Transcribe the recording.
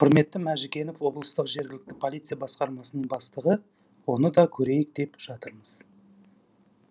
құрмет мәжікенов облыстық жергілікті полиция басқармасының бастығы оны да көрейік деп жатырмыз